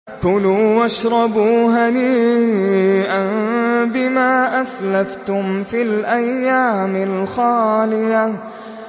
كُلُوا وَاشْرَبُوا هَنِيئًا بِمَا أَسْلَفْتُمْ فِي الْأَيَّامِ الْخَالِيَةِ